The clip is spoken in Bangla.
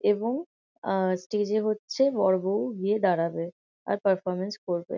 এবং আহ স্টেজ এ হচ্ছে বর বউ গিয়ে দাঁড়াবে আর পারফরম্যান্স করবে।